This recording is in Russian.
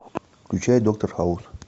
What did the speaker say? включай доктор хаус